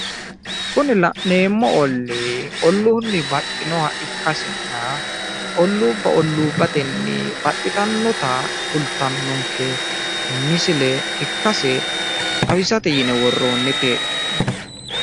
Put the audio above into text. Kunin la'neemo ollii ulluunni baxxinoha ikkasinna olluubba olluubbatenni baxxititinota kultannota ikkase xawisate yine worroonnite.